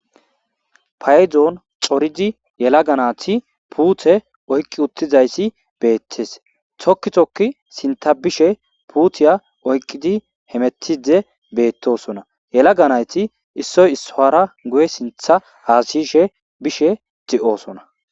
Payidoni corriddi yalagga nayitti putte oyiki utizayisi betesi. Tokki tokki sintha bishe putiya oyiqidi hemetide betosona. Yalaga nayiti issoyi issuwara guye sinthe hassayishe bishe dossona.